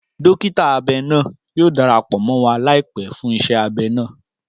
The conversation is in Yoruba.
Dọkita abẹ naa yoo darapọ mọ wa laipẹ fun iṣẹ abẹ naa.